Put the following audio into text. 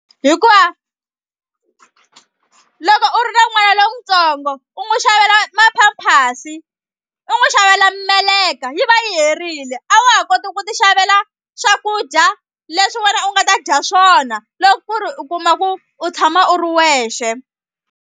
Hikuva loko u ri na n'wana lontsongo u n'wi xavela ma-pampers u n'wi xavela meleka yi va yi herile a wa ha koti ku ti xavela swakudya leswi wena u nga ta dya swona loko ku ri u kuma ku u tshama u ri wexe.